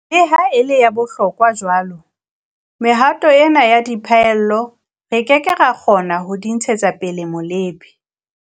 Le ha e le ya bohlokwa jwalo, mehato ena ya diphallelo, re ke ke ra kgona ho di ntshetsa pele molebe.